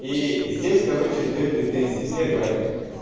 и здесь короче две претензии первая